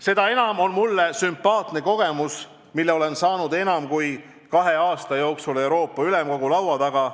Seda enam on mulle sümpaatne kogemus, mille olen saanud enam kui kahe aasta jooksul Euroopa Ülemkogu laua taga.